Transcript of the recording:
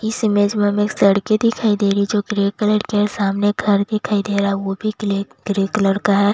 इस इमेज में हमें सड़के दिखाई दे रही है जो ग्रे कलर के हैं सामने घर दिखाई दे रहा है वो भी ग्ले ग्रे कलर का है।